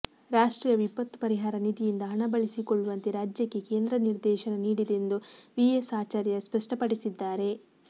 ರಾಷ್ಟ್ರೀಯ ವಿಪತ್ತು ಪರಿಹಾರ ನಿಧಿಯಿಂದ ಹಣ ಬಳಿಸಿಕೊಳ್ಳುವಂತೆ ರಾಜ್ಯಕ್ಕೆ ಕೇಂದ್ರ ನಿರ್ದೇಶನ ನೀಡಿದೆ ಎಂದು ವಿ ಎಸ್ ಆಚಾರ್ಯ ಸ್ಪಷ್ಟಪಡಿಸಿದ್ದಾರೆ